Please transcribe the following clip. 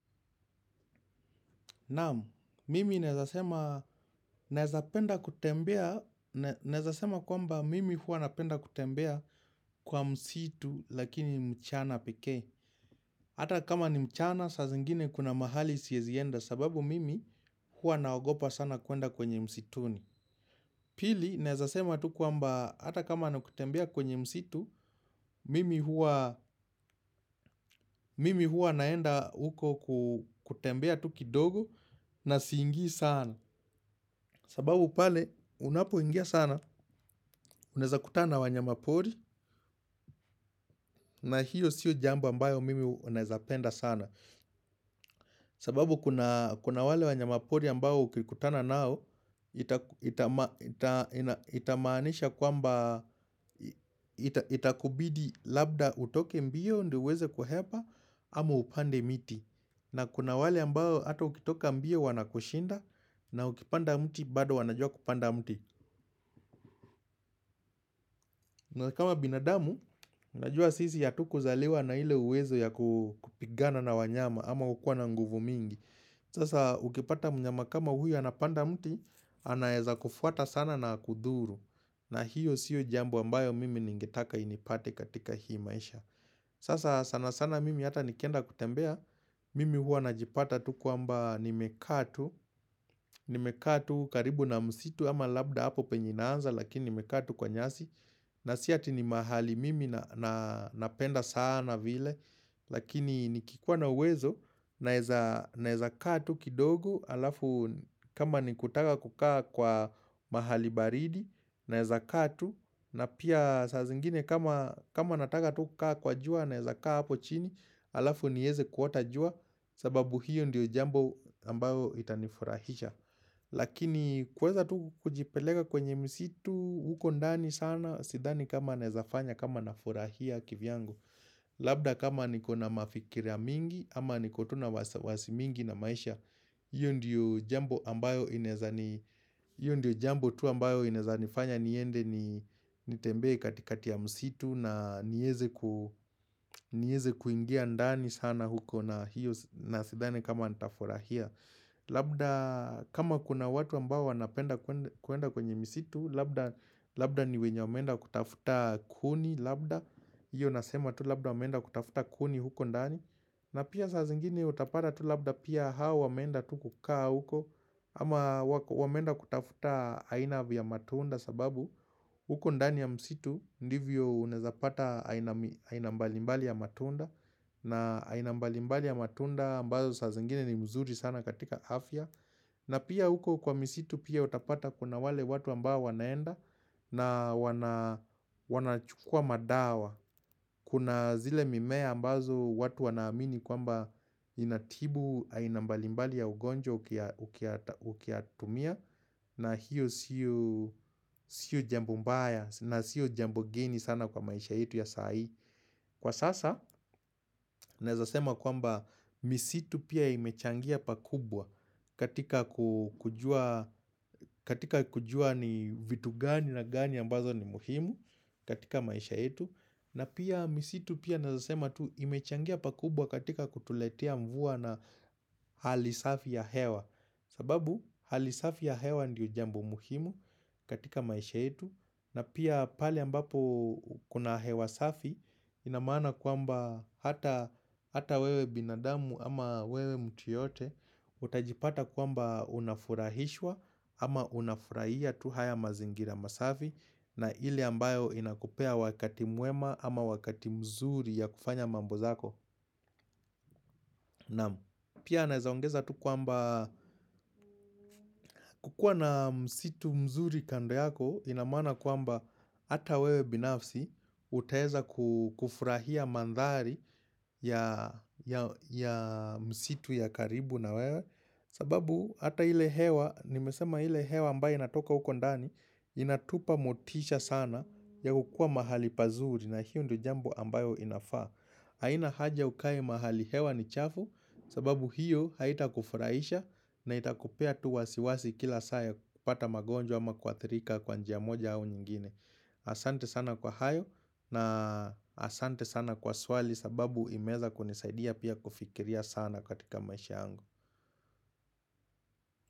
Naam, mimi naweza sema, naweza penda kutembea, naweza sema kwamba mimi huwa napenda kutembea kwa msitu lakini mchana pekee. Hata kama ni mchana, saa zingine kuna mahali siezi enda sababu mimi huwa naogopa sana kuenda kwenye msituni. Pili, naeza sema tu kwamba hata kama ni kutembea kwenye msitu, mimi huwa naenda huko kutembea tu kidogo na siingi sana. Sababu pale unapoingia sana, unaeza kutana na wanyamapori na hiyo siyo jambo ambayo mimi naeza penda sana. Sababu kuna wale wanyamapori ambao ukikutana nao, itamaanisha kwamba itakubidi labda utoke mbio ndio uweze kuhepa ama upande miti. Na kuna wale ambao hata ukitoka mbio wanakushinda na ukipanda mti bado wanajua kupanda mti. Na kama binadamu, najua sisi hatukuzaliwa na ile uwezo ya kupigana na wanyama ama kukua na nguvu mingi Sasa ukipata mnyama kama huyo anapanda mti, anaweza kufuata sana na akudhuru na hiyo sio jambo ambayo mimi ningetaka inipate katika hii maisha Sasa sana sana mimi hata nikenda kutembea, mimi huwa najipata tu kwamba nimekaa tu, nimekaa tu karibu na msitu ama labda hapo penye inaanza lakini nimekaa tu kwa nyasi na si ati ni mahali mimi na napenda sana vile lakini nikikuwa na uwezo naeza kaa tu kidogo halafu kama ni kutaka kukaa kwa mahali baridi na eza kaa tu, na pia saa zingine kama nataka tu kukaa kwa jua naeza kaa hapo chini halafu nieze kuota jua, sababu hiyo ndiyo jambo ambayo itanifurahisha. Lakini kuweza tu kujipeleka kwenye msitu huko ndani sana sidhani kama naezafanya kama nafurahia kivyangu Labda kama niko na mafikira mingi ama niko tu na wasiwasi mingi na maisha hiyo ndiyo jambo ambayo inaeza ni, hiyo ndiyo jambo tu ambayo inaeza nifanya niende ni nitembee katikati ya msitu na niweze kuingia ndani sana huko na hiyo na sidhani kama nitafurahia. Labda kama kuna watu ambao wanapenda kuenda kwenye misitu Labda ni wenye wameenda kutafuta kuni Labda hiyo nasema tu labda wameenda kutafuta kuni huko ndani, na pia saa zingine utapata tu labda pia hao wameenda tu kukaa huko, ama wameenda kutafuta aina vya matunda sababu huko ndani ya misitu Ndivyo unaezapata aina mbalimbali ya matunda na aina mbalimbali ya matunda ambazo saa zingine ni mzuri sana katika afya na pia huko kwa misitu pia utapata kuna wale watu ambao wanaenda na wanachukua madawa Kuna zile mimea ambazo watu wanaamini kwamba Inatibu aina mbalimbali ya ugonjwa ukiyatumia na hiyo sio jambo mbaya na sio jambo geni sana kwa maisha yetu ya saa hii. Kwa sasa, naeza sema kwamba misitu pia imechangia pakubwa katika kujua ni vitu gani na gani ambazo ni muhimu katika maisha yetu. Na pia misitu pia naweza sema tu imechangia pakubwa katika kutuletea mvua na hali safi ya hewa. Sababu, hali safi ya hewa ndio jambo muhimu katika maisha yetu. Na pia pale ambapo kuna hewa safi ina maana kwamba hata wewe binadamu ama wewe mtu yeyote utajipata kwamba unafurahishwa ama unafurahia tu haya mazingira masafi na ile ambayo inakupea wakati mwema ama wakati mzuri ya kufanya mambo zako naam. Pia naeza ongeza tu kwamba kukuwa na msitu mzuri kando yako ina maana kwamba Hata wewe binafsi, utaeza kufurahia mandhari ya msitu ya karibu na wewe sababu, hata ile hewa, nimesema ile hewa ambayo inatoka huko ndani inatupa motisha sana ya kukuwa mahali pazuri na hiyo ndio jambo ambayo inafaa haina haja ukae mahali hewa ni chafu sababu hiyo haitakufurahisha na itakupea tu wasiwasi kila saa ya kupata magonjwa ama kuathirika kwa njia moja au nyingine Asante sana kwa hayo na asante sana kwa swali sababu imeweza kunisaidia pia kufikiria sana katika maisha yangu.